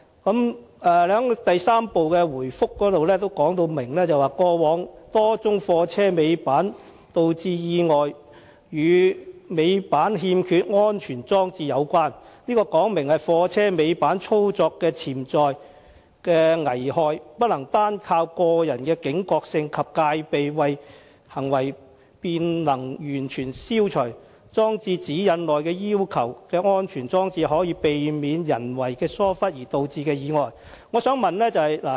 局長在第三部分的答覆中清楚指出，過往多宗貨車尾板導致的意外均與尾板欠缺安全裝置有關，這說明貨車尾板操作的潛在危害不能單靠個人的警覺性及戒備行為便能完全消除，裝設《指引》內要求的安全裝置，可避免人為疏忽而導致的意外。